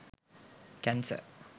cancer